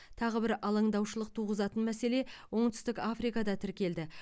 тағы бір алаңдаушылық туғызатын мәселе оңтүстік африкада тіркелді